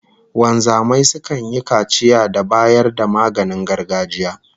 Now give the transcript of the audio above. Wanzamai sukan yi kaciya da bayar da maganin gargajiya